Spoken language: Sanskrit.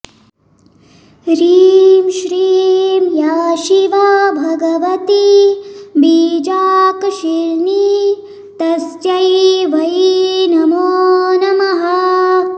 ह्रीं श्रीं या शिवा भगवती बीजाकर्षिणी तस्यै वै नमो नमः